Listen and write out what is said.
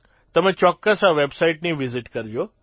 તમે ચોક્કસ આ વેબસાઇટની વિઝિટ કરજો